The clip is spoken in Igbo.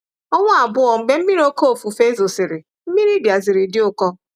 Ọnwa abụọ mgbe oke mmiri ofufe zosịrị, mmiri bịaziri di ụkọ.